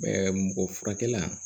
mɔgɔ furakɛ la